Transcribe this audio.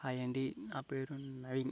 Hi అండి నా పేరు నవీన్.